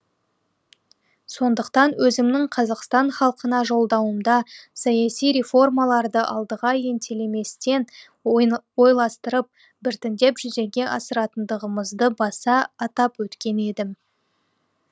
сондықтан өзімнің қазақстан халқына жолдауымда саяси реформаларды алдыға ентелеместен ойластырып біртіндеп жүзеге асыратындығымызды баса атап өткен едім